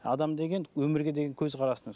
адам деген өмірге деген көзқарасын